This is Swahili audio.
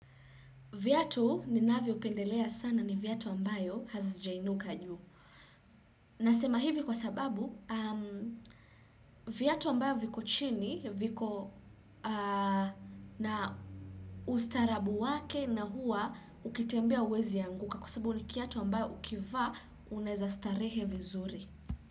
Vyatu ni navyo pendelea sana ni vyatu ambayo hazazijainuka juu. Nasema hivi kwa sababu Vyatu ambayo viko chini, viko na ustaarabu wake na huwa ukitambia hauwezi anguka kwa sababu ni kiatu ambayo ukivaa unaweza starehe vizuri.